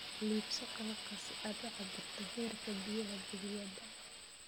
Iibso qalabka si aad u cabbirto heerka biyaha balliyada.